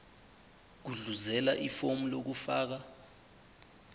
gudluzela ifomu lokufaka